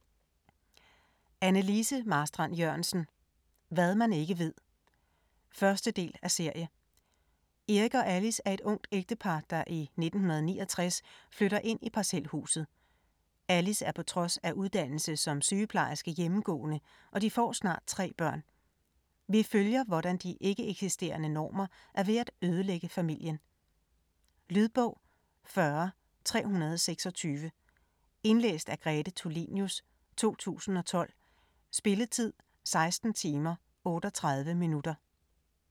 Marstrand-Jørgensen, Anne Lise: Hvad man ikke ved 1. del af serie. Eric og Alice er et ungt ægtepar, der i 1969 flytter ind i parcelhuset. Alice er på trods af uddannelse som sygeplejerske hjemmegående, og de får snart 3 børn. Vi følger, hvordan de ikke-eksisterende normer er ved at ødelægge familien. Lydbog 40326 Indlæst af Grete Tulinius, 2012. Spilletid: 16 timer, 38 minutter.